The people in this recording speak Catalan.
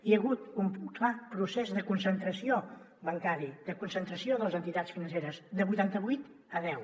hi ha hagut un clar procés de concentració bancària de concentració de les entitats financeres de vuitanta vuit a deu